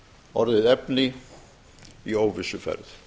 orðið efni í óvissuferð